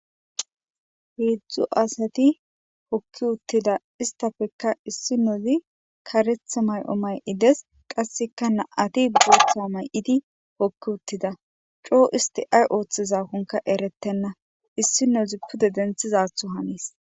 Heedzdzu asati hokki uttida istafekka issi nozi karetha may7o may7ides qasseka na7ati bootha may7idi hokki uttida coo isti ay ooththizakonka erettenna issi nozi pude denthizatho hanis.